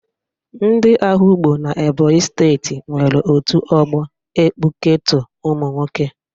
Ndị Ehugbo n'Ebonyi steeti nwere otu ọgbọ ekpụketọ ụmụnwoke